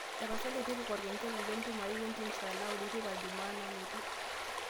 tapasali tipika orkengele le entumo ai we entiim saa naudo teipa jumaa nalotu